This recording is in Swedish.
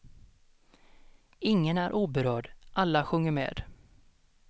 Ingen är oberörd, alla sjunger med.